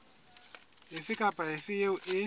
efe kapa efe eo e